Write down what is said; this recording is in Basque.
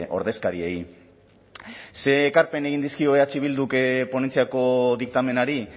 ordezkariei ze ekarpen egin dizkio eh bilduk ponentziako diktamenari